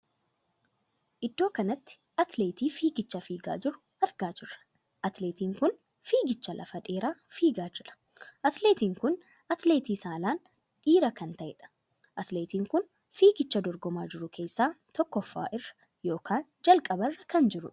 Iddoo kanatti atileetii fiigicha fiigaa jiru argaa jirra. atileetiin kun fiigichaa lafa dheeraa fiigaa jira. atileetiin kun atileetii saalaan dhiiraa kan taheedha. atileetiin kun fiigicha dorgomaa jiru keessaa tokkoffa irra ykn jalqaba irra kan jirudha.